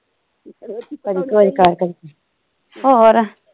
ਹੋਰ